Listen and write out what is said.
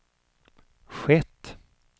skett